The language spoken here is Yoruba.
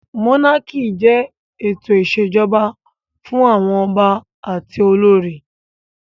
Mónákì jẹ́ ètò ìṣèjọba fún àwọn ọba àti olórí